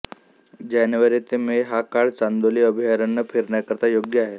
जानेवारी ते मे हा काळ चांदोली अभयारण्य फिरण्याकरता योग्य आहे